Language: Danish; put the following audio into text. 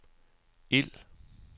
ild